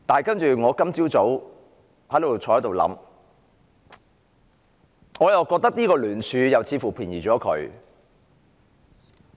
不過，我今早坐在這裏思考，我又覺得這聯署似乎便宜了她。